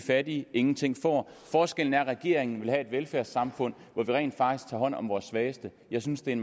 fattige ingenting får forskellen er at regeringen vil have et velfærdssamfund hvor vi rent faktisk tager hånd om vores svageste jeg synes det er